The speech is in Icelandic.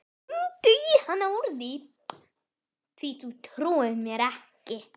Hringdu í hana úr því þú trúir mér ekki.